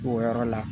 O yɔrɔ la